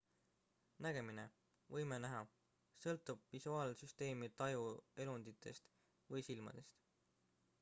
nägemine võime näha sõltub visuaalsüsteemi tajuelunditest või silmadest